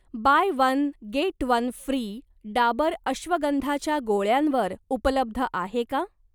Bye one get one free' Dabur अश्वगंधाच्या गोळ्यांवर उपलब्ध आहे का?